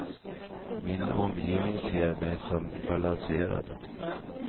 Min omgivning ser mig som balanserad.